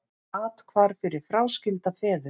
Athvarf fyrir fráskilda feður